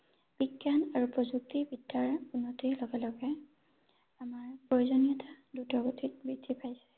বিজ্ঞান আৰু প্ৰযুক্তি বিদ্যাৰ উন্নতিৰ লগে লগে আমাৰ প্ৰয়োজনীয়তা দ্ৰুত গতিত বৃদ্ধি পাইছে ৷